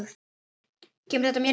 Kemur þetta mér við?